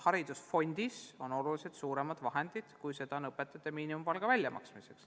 Haridusfondis on oluliselt suuremad vahendid, kui on vaja õpetajate miinimumpalga väljamaksmiseks.